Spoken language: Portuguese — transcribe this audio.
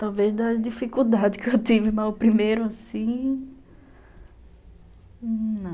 Talvez das dificuldades que eu tive, mas o primeiro assim... Não.